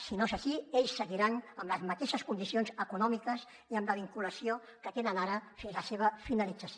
si no és així ells seguiran amb les mateixes condicions econòmiques i amb la vinculació que tenen ara fins la seva finalització